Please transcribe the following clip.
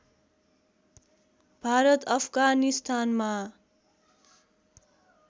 भारत अफगानिस्तानमा